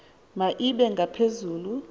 ma ibe ngaphezulu